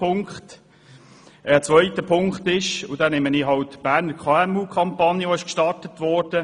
Für den zweiten Punkt beziehe ich mich auf die Berner KMUKampagne, die gestartet wurde: